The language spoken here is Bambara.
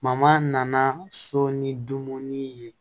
nana so ni dumuni ye